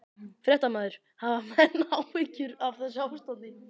Fréttamaður: Hafa menn áhyggjur af þessu ástandi?